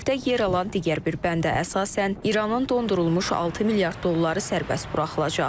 Təklifdə yer alan digər bir bəndə əsasən, İranın dondurulmuş 6 milyard dolları sərbəst buraxılacaq.